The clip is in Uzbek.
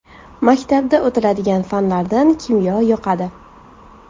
Maktabda o‘tiladigan fanlardan kimyo yoqadi.